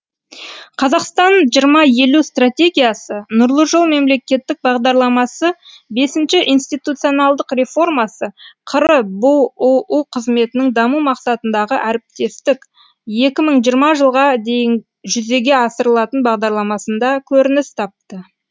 қазақстан екі мың елу стратегиясы нұрлы жол мемлекеттік бағдарламасы бесінші институционалдық реформасы қр бұұ қызметінің даму мақсатындағы әріптестік екі мың жиырмасыншыжылға дейінжүзеге асырылатын бағдарламасында көрініс тапты